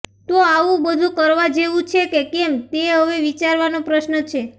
તો આવું બધું કરવા જેવું છે કે કેમ તે હવે વિચારવાનો પ્રશ્ન છે